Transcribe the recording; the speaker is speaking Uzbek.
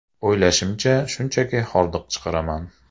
O‘ylashimcha, shunchaki hordiq chiqaraman”.